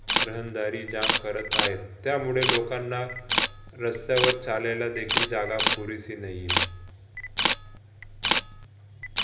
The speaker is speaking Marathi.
रहणदारी jam करत हायत त्यामुळे लोकांना रस्त्यावर चालायला देखील जागा पुरेशी नाही.